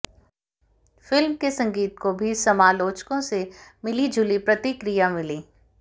film के संगीत को भी समालोचकों से मिलीजुली प्रतिक्रिया मिली